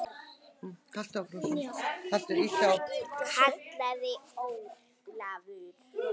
kallaði Ólafur.